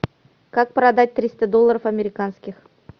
как продать триста долларов американских